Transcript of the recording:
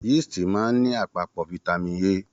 Yiisti máa n ní àpapọ fitami A.